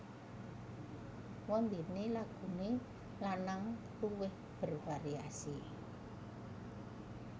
Wondene lagune lanang luwih bervariasi